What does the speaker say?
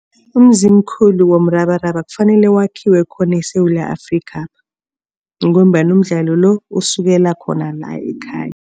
Umzimkhulu womrabaraba kufanele wakhiwe khona eSewula Afrikha ngombana umdlalo lo, usukela khona la ekhaya.